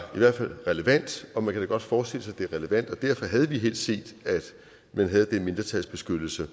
hvert fald relevant og man kan da godt forestille sig det er relevant og derfor havde vi helst set at man havde den mindretalsbeskyttelse